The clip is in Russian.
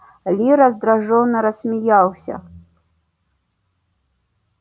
ли раздражённо рассмеялся